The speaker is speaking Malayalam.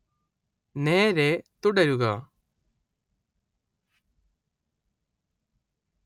നേരേ തുടരുക